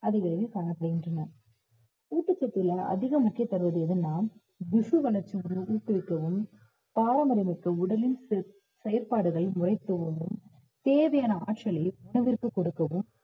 அதிக அளவில் காணப்படுகின்றன ஊட்டச்சத்துல அதிக முக்கியம் தருவது எதுனா ஊக்குவிக்கவும் பாரம்பரியமிக்க உடலின் செல்~ செயல்பாடுகளை தேவையான ஆற்றலை உணவிற்கு கொடுக்கவும்